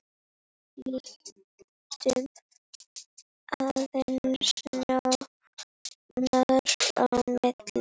Lítum aðeins nánar á málið.